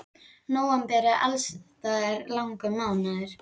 Nóvember er alls staðar langur mánuður.